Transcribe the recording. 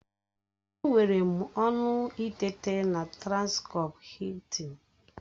Enwere m ọñụ ịteta na transcọp Hiltịn